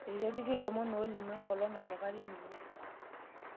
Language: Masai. Itu epiki ilomon oolimu enkolong' nanukari ninye